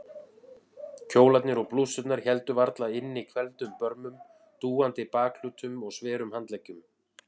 Kjólarnir og blússurnar héldu varla inni hvelfdum börmum, dúandi bakhlutum og sverum handleggjum.